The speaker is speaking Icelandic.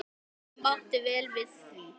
Ég mátti vel við því.